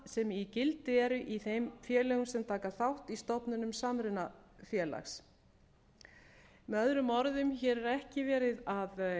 sem í gildi eru í þeim félögum sem taka þátt í stofnun samrunafélags með öðrum orðum er hér ekki verið að